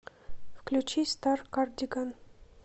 включи старкардиган